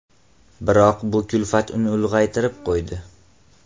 Biroq bu kulfat uni ulg‘aytirib qo‘ydi.